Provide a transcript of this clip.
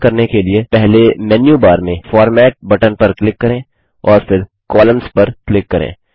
यह करने के लिए पहले मेन्यू बार में फॉर्मेट बटन पर क्लिक करें और फिर कोलम्न्स पर क्लिक करें